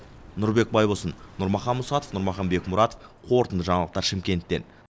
нұрбек байболсын нұрмахан мұсатов нұрмахан бекмұратов қорытынды жаңалықтар шымкенттен